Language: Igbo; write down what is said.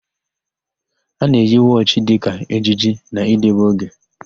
A na-eyi wọchị dịka ejiji na idebe oge.